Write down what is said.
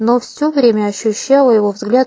но все время ощущала его взгляд